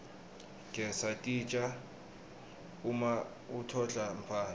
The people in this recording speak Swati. gesa titja uma utodla mfana